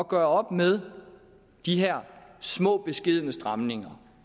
gøre op med de her små beskedne stramninger